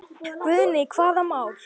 Guðný: Hvaða mál?